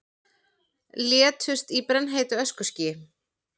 Létust í brennheitu öskuskýi